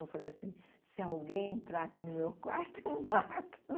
Eu falei assim, se alguém entrar aqui no meu quarto, eu mato.